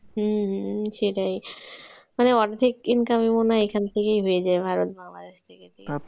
হম সেটাই। তো অর্ধেক income ই মনে হয় এখান থেকেই হয়ে যায় ভারত বাংলাদেশ থেকে।